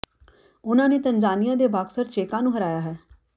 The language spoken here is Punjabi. ਉਨ੍ਹਾਂ ਨੇ ਤੰਜਾਨੀਆ ਦੇ ਬਾਕਸਰ ਚੇਕਾ ਨੂੰ ਹਰਾਇਆ ਹੈ